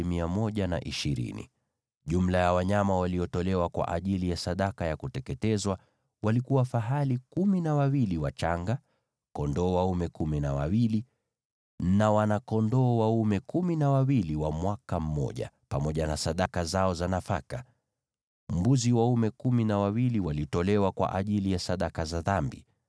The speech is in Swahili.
Jumla ya wanyama waliotolewa kwa ajili ya sadaka ya kuteketezwa walikuwa fahali kumi na wawili wachanga, kondoo dume kumi na wawili na wana-kondoo dume kumi na wawili wa mwaka mmoja, pamoja na sadaka zao za nafaka. Mbuzi waume kumi na wawili walitolewa kwa ajili ya sadaka za dhambi.